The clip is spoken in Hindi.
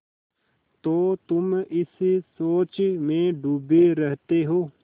तो तुम इस सोच में डूबे रहते हो